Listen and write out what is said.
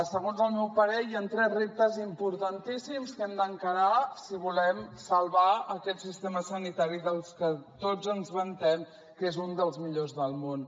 segons el meu parer hi han tres reptes importantíssims que hem d’encarar si volem salvar aquest sistema sanitari del que tots ens vantem que és un dels millors del món